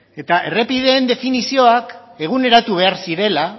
eta errepideen definizioa eguneratu behar zirela